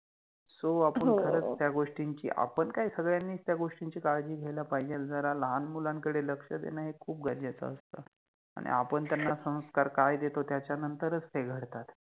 So हो आपण खरच त्या गोष्टीचि आपण काय सगळ्यानिच त्या गोष्टीचि काळजि घ्यायला पाहिजेल, जरा लहान मुलांकडे लक्ष देण हे खुप गरजेच असत. आणी आपण त्याना काय संस्कार देतो त्याच्यानंतर च ते घडतात